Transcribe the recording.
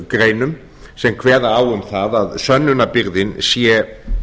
greinum sem kveða á um það að sönnunarbyrðin sé